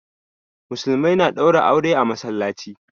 Musulmai na ɗaura aure a masallaci